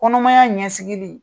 Kɔnɔmaya ɲɛsigili,